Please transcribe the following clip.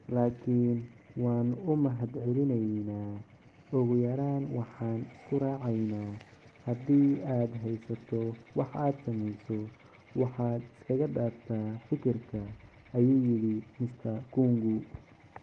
"Laakiin waan u mahadcelineynaa… ugu yaraan waxaan isku raaceynaa, haddii aad haysato wax aad sameyso, waxaad iska dhaaftaa fikirka," ayuu yidhi Mr. Kung'u.